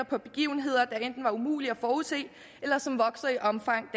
på begivenheder der enten var umulige at forudse eller som vokser i omfang